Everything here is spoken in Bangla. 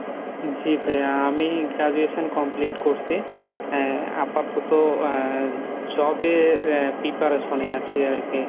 জি ভাইয়া আমি Graduation complete করসি আহ আপাতত আহ job এর আহ preparation এ আছি আরকি।